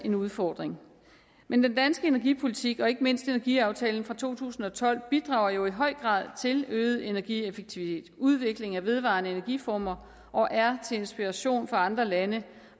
en udfordring men den danske energipolitik og ikke mindst energiaftalen fra to tusind og tolv bidrager jo i høj grad til øget energieffektivitet og udvikling af vedvarende energiformer og er til inspiration for andre lande